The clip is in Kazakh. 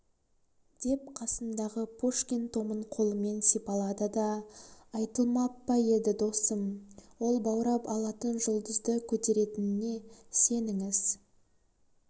деп қасындағы пушкин томын қолымен сипалады да айтылмап па еді досым ол баурап алатын жұлдызды көтеретініне сеніңіз